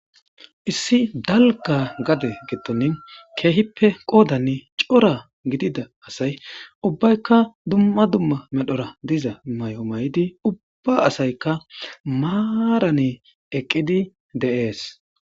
Issi dalga gade gettonin keehippe qoodani cora gidida asay ubbaykka dumma dumma medhora diza may7o may7idi ubba asaykka maarane eqqidi de7ees.